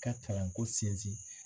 ka kalanko sinsin